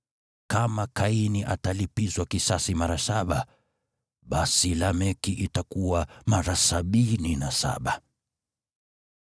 Kama Kaini atalipizwa kisasi mara saba, basi Lameki itakuwa mara sabini na saba.”